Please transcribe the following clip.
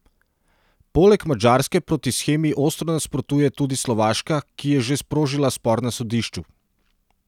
Poleg Madžarske proti shemi ostro nasprotuje tudi Slovaška, ki je že sprožila spor na sodišču.